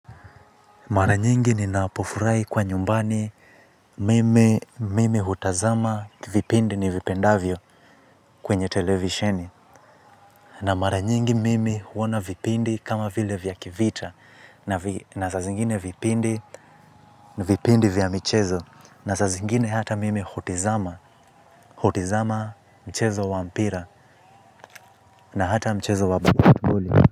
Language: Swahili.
Mara nyingi ninapofurahi kuwa nyumbani mimi hutazama vipindi nivipendavyo kwenye televisheni. Na mara nyingi mimi huona vipindi kama vile vya kivita. Na saa zingine vipindi vya michezo. Na saa zingine hata mimi hutizama. Hutizama mchezo wa mpira na hata mchezo wa.